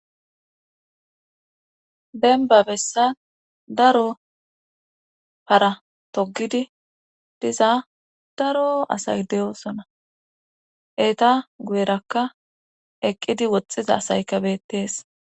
Denba bessan daro para togidi diza daro asay de'oosona eeta guyerakka eqqidi woxxiza asayka bettees